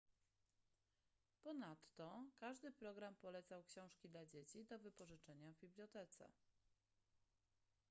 ponadto każdy program polecał książki dla dzieci do wypożyczenia w bibliotece